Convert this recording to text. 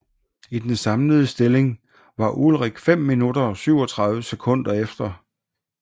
I den samlede stilling var Ullrich 5 minutter og 37 sekunder efter